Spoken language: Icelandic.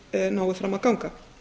lögbannsbeiðni nái fram að ganga